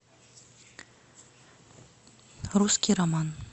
русский роман